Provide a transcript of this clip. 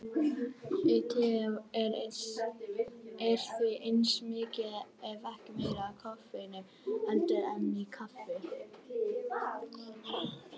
Í tei er því eins mikið ef ekki meira af koffeini heldur en í kaffi.